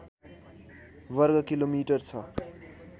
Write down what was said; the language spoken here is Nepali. वर्गकिलोमिटर छ